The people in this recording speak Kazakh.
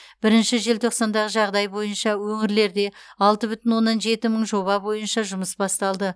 бірінші желтоқсандағы жағдай бойынша өңірлерде алты бүтін оннан жеті мың жоба бойынша жұмыс басталды